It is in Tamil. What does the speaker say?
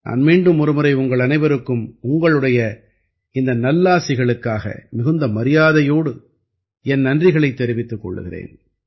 நான் மீண்டும் ஒரு முறை உங்கள் அனைவருக்கும் உங்களுடைய இந்த நல்லாசிகளுக்காக மிகுந்த மரியாதையோடு என் நன்றிகளைத் தெரிவித்துக் கொள்கிறேன்